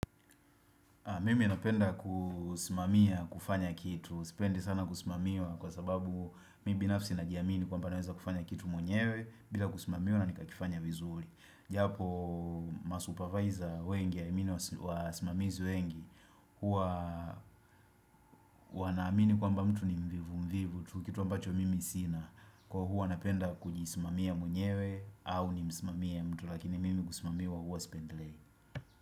Mimi napenda kusimamia kufanya kitu, sipendi sana kusimamiwa kwa sababu mimi binafsi najiamini kwamba naweza kufanya kitu mwenyewe bila kusimamiwa na nikakifanya vizuri. Japo masupervisor wengi, I mean wasimamizi wengi, hua wanamini kwamba mtu ni mvivu mvivu tu, kitu ambacho mimi sina. Kuwa hua napenda kujisimamia mwenyewe au nimsimamie mtu lakini mimi kusimamiwa hua sipendelei.